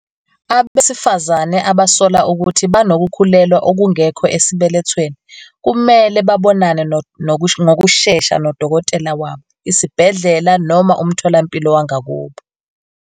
Abesifazane abasola ukuthi banokukhulelwa okungekho esibelethweni kumele babonane ngokushesha nodokotela wabo, isibhedlela noma umtholampilo wangakubo.